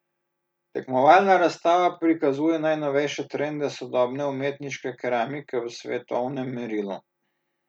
Tekmovalna razstava prikazuje najnovejše trende sodobne umetniške keramike v svetovnem merilu.